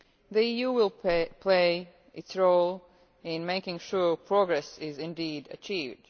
The EU will play its role in making sure progress is indeed achieved.